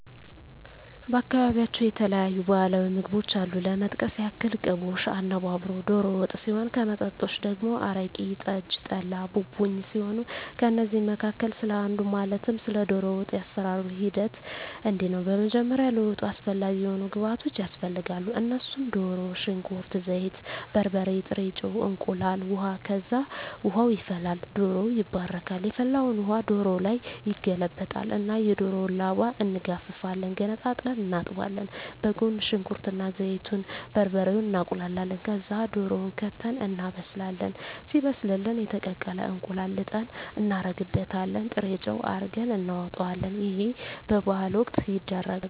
በአካባቢያቸው የተለያዩ ባህላዊ ምግቦች አሉ ለመጥቀስ ያክል ቅቦሽ፣ አነባበሮ፣ ዶሮ ወጥ ሲሆን ከመጠጦች ደግሞ አረቂ፣ ጠጅ፣ ጠላ፣ ቡቡኝ ሲሆኑ ከእነዚህ መካከል ስለ አንዱ ማለትም ስለ ዶሮ ወጥ የአሰራሩ ሂደት እንዲህ ነው በመጀመሪያ ለወጡ አስፈላጊ የሆኑ ግብዓቶች ያስፈልጋሉ እነሱም ድሮ፣ ሽንኩርት፣ ዘይት፣ በርበሬ፣ ጥሬ ጨው፣ እንቁላል፣ ውሀ፣ ከዛ ውሃ ይፈላል ዶሮው ይባረካል የፈላውን ውሀ ዶሮው ላይ ይገለበጣል እና የዶሮውን ላባ እንጋፍፋለን ገነጣጥለን እናጥባለን በጎን ሽንኩርት እና ዘይቱን፣ በርበሬውን እናቁላላለን ከዛ ድሮውን ከተን እናበስላለን ሲበስልልን የተቀቀለ እንቁላል ልጠን እናረግበታለን ጥሬጨው አርገን እናወጣለን ይህ በበዓል ወቅት ይደረጋል።